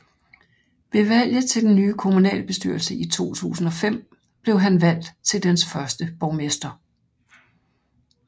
Ved valget til den nye kommunalbestyrelse i 2005 blev han valgt til dens første borgmester